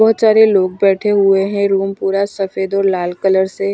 बहुत सारे लोग बैठे हुए हैं रूम पूरा सफेद और लाल कलर से--